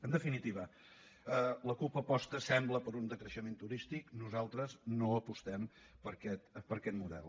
en definitiva la cup aposta sembla per un decreixement turístic nosaltres no apostem per aquest model